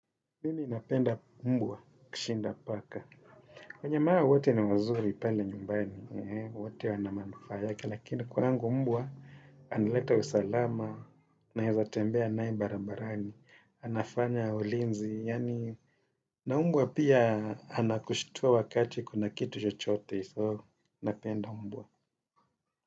Mimi napenda mbwa kushinda paka. Kwenye maa wote ni wazuri pale nyumbani, wote wanamanufaa yake, lakini kwa kwangu mbwa analeta usalama, naeza tembea nae barabarani, anafanya ulinzi, yani na mbwa pia anakushtua wakati kuna kitu chochote, so napenda mbwa.